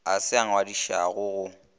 a se a ngwadišwago go